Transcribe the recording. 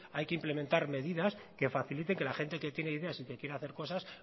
hay que implementar medidas que facilite que la gente que tiene ideas y que quiere hacer cosas